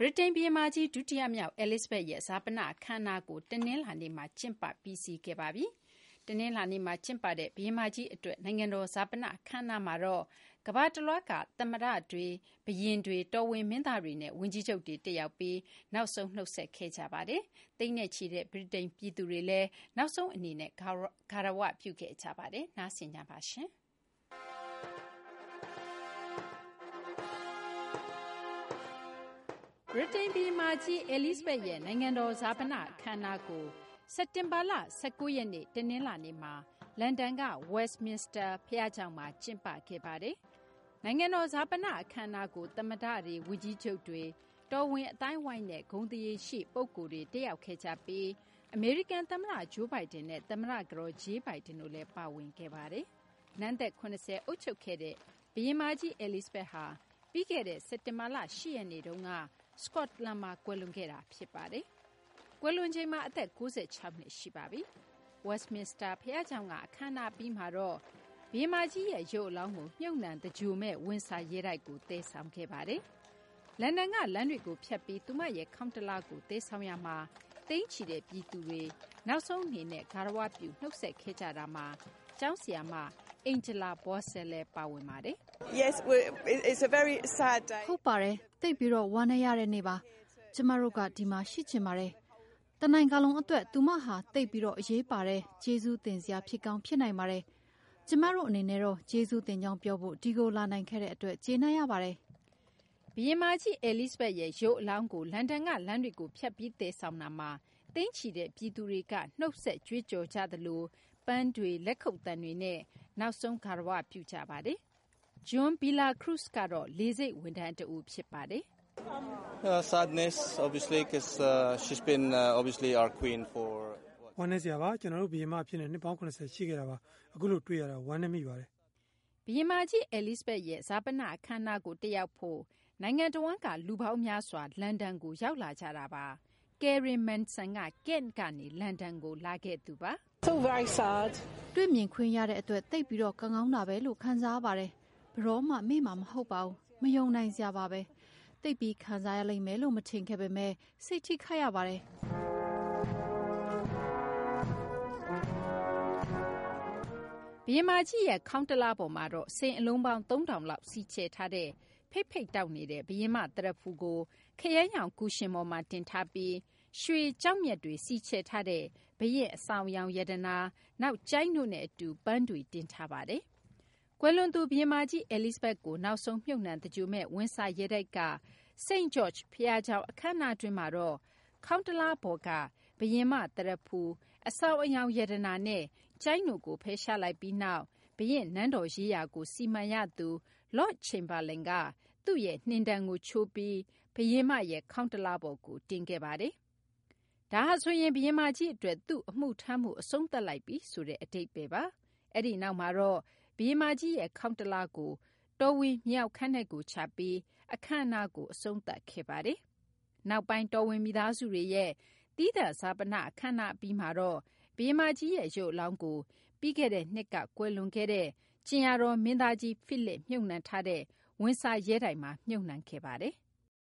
ြိတိန် ဘုရင်မကြီး ဒုတိယမြောက် Elizabeth ရဲ့ ဈာပန အခမ်းအနားကို တနလာၤနေ့မှာ ကျင်းပ ပြီးစီးခဲ့ပါပြီ။ တနလာၤနေ့မှာ ကျင်းပတဲ့ ဘုရင်မကြီး အတွက် နိုင်ငံတော် ဈာပန အခမ်းအနားမှာတော့ ကမ ္ဘာတလွှားက သမ္မတတွေ နဲ့ ဘုရင်တွေ၊ တော်ဝင် မင်းသားတွေနဲ့ ဝန်ကြီးချုပ်တွေ တက်ရောက်ပြီး နောက်ဆုံး နုတ်ဆက်ခဲ့ကြပါတယ်။ သိန်းနဲ့ချီတဲ့ ဗြိတိန် ပြည်သူတွေလည်း နောက်ဆုံး အနေနဲ့ ဂါရဝပြု ခဲ့ကြပါတယ်။ မသိင်္ဂ ီထိုက် စုစည်းတင်ပြပေးပါမယ်။ ဗြိတိန် ဘုရင်မကြီး Elizabeth ရဲ့ နိုင်ငံတော် ဈာပန အခမ်းအနားကို စက်တင်ဘာလ ၁၉ ရက်နေ့ တနလာၤနေ့မှာ လန်ဒန်က Westminster ဘုရားကျောင်းမှာ ကျင်းပခဲ့ပါတယ်။ နိုင်ငံတော် ဈာပန အခမ်းအနားကို သမ္မတတွေ၊ ဝန်ကြီးချုပ်တွေ၊ တော်ဝင် အသိုင်းအဝိုင်းနဲ့ ဂုဏ်သရေရှိ ပုဂ္ဂိုလ်တွေ တက်ရောက်ခဲ့ကြပြီး အမေရိကန် သမ္မတ Joe Biden နဲ့ သမ္မတ ကတော် Jill Biden တို့လည်း ပါဝင်ခဲ့ပါတယ်။ နန်းသက် ၇၀ အုပ်ချုပ်ခဲ့တဲ့ ဘုရင်မကြီး Elizabeth ဟာ ပြီးခဲ့တဲ့ စက်တင်ဘာလ ၈ ရက်နေ့တုန်းက စကော့တလန်မှာ ကွယ်လွန်ခဲ့တာ ဖြစ်ပါတယ်။ ကွယ်လွန်ချိန်မှာ အသက် ၉၆ နှစ် ရှိပါပြီ။ Westminster ဘုရားကျောင်းက အခမ်းအနား အပြီးမှာတော့ ဘုရင်မကြီးရဲ့ရုပ်အလောင်းကို မြှုပ်နှံသင်္ဂြိုဟ်မယ့် ဝင်ဆာ ရဲတိုက်ကို သယ်ဆောင်ခဲ့ပါတယ်။ လန်ဒန်က လမ်းတွေကို ဖြတ်ပြီး သူမရဲ့ ခေါင်းတလားကို သယ်ဆောင်ရာမှာလည်း သိန်းချီတဲ့ ပြည်သူတွေ နောက်ဆုံး အနေနဲ့ ဂါရဝပြု နုတ်ဆက်ခဲ့ကြတာမှာ ကျောင်းဆရာမ Angla Vocese လည်းပါဝင်ပါတယ်။ " ဟုတ်ပါတယ်။ သိပ်ပြီး ဝမ်းနည်းရတဲ့ နေ့ပါ။ ကျမတို့က ဒီမှာ ရှိချင်ပါတယ်။ တနိုင်ငံလုံး အတွက် သူမဟာ သိပ်ပြီး အရေးပါတဲ့ ကျေးဇူးတင်စရာ ဖြစ်ကောင်း ဖြစ်နိုင်ပါတယ်။ ကျမတို့ အနေနဲ့တော့ ကျေးဇူးတင်ကြောင်း ပြောဖို့ ဒီကို လာနိုင်ခဲ့တဲ့ အတွက် ကျေနပ်ရပါတယ်" ဘုရင်မကြီး Elizabeth ရဲ့ ရုပ်အလောင်းကို လန်ဒန်က လမ်းတွေကို ဖြတ်ပြီး သယ်ဆောင်ရာမှာတော့ သိန်းချီတဲ့ ပြည်သူတွေက နုတ်ဆက်ကြွေးကြော် ကြသလို ပန်းတွေ၊ လက်ခုပ်သံတွေနဲ့ နောက်ဆုံး ဂါရ၀ ပြု နုတ်ဆက်ခဲ့ကြတာပါ။ JOHN VILLACRUZES ကတော့ လေဆိပ် ဝန်ထမ်းတဦး ဖြစ်ပါတယ်။ " ဝမ်းနည်းစရာပါ။ သူမဟာ ကျနော်တို့ ဘုရင်မ အဖြစ် နှစ်ပေါင်း ၇၀ ရှိခဲ့တာပါ။ အခုလို တွေ့ရတာ ဝမ်းနည်းရပါတယ် " ဘုရင်မကြီး Elizabeth ရဲ့ ဈာပန အခမ်းအနားကို တက်ရောက်ဖို့ နိုင်ငံတဝှမ်းက လူပေါင်းများစွာ လန်ဒန်ကို ရောက်လာကြတာပါ။ Karen Manson ကတော့ Kent ကနေ လန်ဒန်ကို လာခဲ့သူပါ။ " တွေ့မြင်ခွင့်ရတဲ့အတွက် သိပ်ပြီး ကံကောင်းတာဘဲလို့ ခံစားရပါတယ်။ ဘယ်တော့မှ မေ့မှာ မဟုတ်ပါဘူး။ မယုံနိုင်စရာပါဘဲ။ သိပ်ပြီး ခံစားရလိမ့်မယ်လို့ မထင်ခဲ့ပေမယ့် စိတ်ထိခိုက်ရပါတယ်" ဘုရင်မကြီးရဲ့ ခေါင်းတလားပေါ်မှာတော့ စိန်အလုံးပေါင်း ၃၀၀၀ လောက် စီချယ်ထားတဲ့ ဖိတ်ဖိတ်တောက်နေတဲ့ ဘုရင်မ သရဖူကို ခရမ်းရောင် ကူရှင်ပေါ်မှာ တင်ထားပြီး ရွှေ ကျောက်မျက်တွေ စီချယ်ထားတဲ့ ဘုရင့် အဆောင်အယောင် ရတနာ၊ နောက် ကျိုင်းတို့နဲ့ အတူ ပန်းတွေ တင်ဆောင်ထားပါတယ်။ ကွယ်လွန်သူ ဘုရင်မကြီး Elizabeth ကို နောက်ဆုံး မြှပ်နှံ သင်္ဂြိုဟ်မယ့် ဝင်ဆာရဲတိုက်က St. George ဘုရားကျောင်း အခမ်းအနားတွင်းမှာတော့ ခေါင်းတလားပေါ်က ဘုရင်မ သရဖူ၊ အဆောင်အယောင် ရတနာနဲ့ ကျိုင်းတို့ကို ဖယ်ရှားလိုက်ပြီး နောက် ဘုရင့်နန်းတော်ရေးရာကို စီမံရသူ Lord Chamberlain က သူ့ရဲ့ နှင်တံကို ချိုးပြီး ဘုရင်မကြီးရဲ့ ခေါင်းတလားပေါ်ကို တင်ခဲ့ပါတယ်။ ဒါဟာဆိုရင် ဘုရင်မကြီး အတွက် သူ့အမှုထမ်းမှု အဆုံးသတ်လိုက်ပြီ ဆိုတဲ့ အဓိပ္ပါယ်ပါ။ အဲဒီနောက်မှာတော့ ဘုရင်မကြီးရဲ့ ခေါင်းတလားကို တော်ဝင် မြေအောက်ခန်းထဲကို ချပြီး အခမ်းအနားကို အဆုံးသတ်ခဲ့ပါတယ်။ နောက်ပိုင်း တော်ဝင်မိသားစုဝင်တွေရဲ့ သီးသန့် ဈာပန အခမ်းအနားအပြီးမှာတော့ ဘုရင်မကြီး ရုပ်အလောင်းကို ပြီးခဲ့တဲ့နှစ်က ကွယ်လွန်သွားတဲ့ ကြင်ယာတော် မင်းသားကြီးဖိလစ် မြှုပ်နှံထားတဲ့ ဝင်ဆာရဲတိုက်မှာ မြှုပ်နှံခဲ့ပါတယ်။